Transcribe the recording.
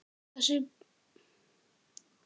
Þessi bók er um það.